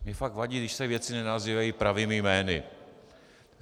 Mně fakt vadí, když se věci nenazývají pravými jmény.